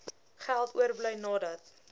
geld oorbly nadat